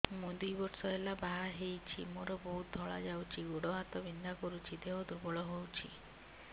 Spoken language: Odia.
ମୁ ଦୁଇ ବର୍ଷ ହେଲା ବାହା ହେଇଛି ମୋର ବହୁତ ଧଳା ଯାଉଛି ଗୋଡ଼ ହାତ ବିନ୍ଧା କରୁଛି ଦେହ ଦୁର୍ବଳ ହଉଛି